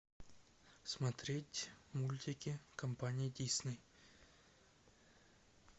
смотреть мультики компании дисней